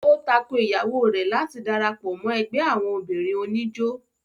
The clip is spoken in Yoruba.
ó tako Ìyàwó rẹ̀ láti darapọ̀ mọ́ ẹgbẹ́ àwọn obìnrin oníjó